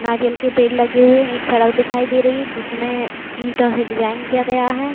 नारियल के पेड़ लगे हुए है। एक सड़क दिखाई दे रही है जिसमें ईटों से डिजाइन किया गया है।